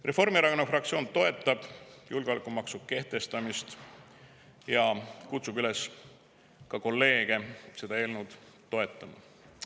Reformierakonna fraktsioon toetab julgeolekumaksu kehtestamist ja kutsub ka kolleege üles seda eelnõu toetama.